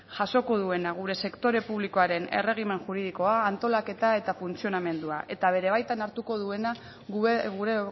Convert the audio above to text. jasoko duena gure sektore publikoaren erregimen juridikoa antolaketa eta funtzionamendua eta bere baitan hartuko duena gure